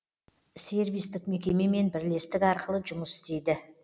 сервистік мекемемен бірлестік арқылы жұмыс істейді